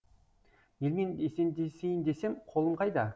елмен есендесейін десем қолым қайда